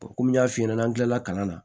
komi n y'a f'i ɲɛna n'an kilala kalan na